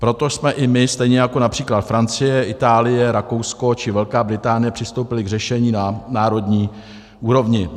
Proto jsme i my, stejně jako například Francie, Itálie, Rakousko či Velká Británie, přistoupili k řešení na národní úrovni.